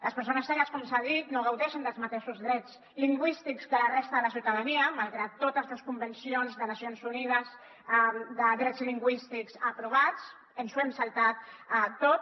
les persones cegues com s’ha dit no gaudeixen dels mateixos drets lingüístics que la resta de la ciutadania malgrat totes les convencions de nacions unides de drets lingüístics aprovats ens ho hem saltat tot